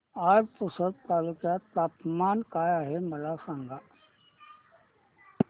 आज पुसद तालुक्यात तापमान काय आहे मला सांगा